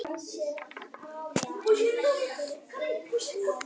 til prests lærði jón hjá ísleifi gissurarsyni í skálholti